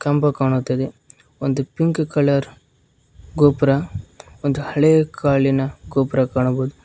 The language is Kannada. ಕಂಬ ಕಾಣುತ್ತದೆ ಒಂದು ಪಿಂಕ್ ಕಲರ್ ಗೋಪುರ ಒಂದು ಹಳೆ ಕಾಲಿನ ಗೋಪುರ ಕಾಣಬಹುದು.